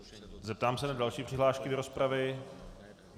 Zeptám se na další přihlášky do rozpravy.